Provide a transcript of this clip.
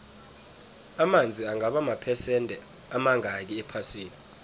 amanzi angaba maphesende amangakhi ephasini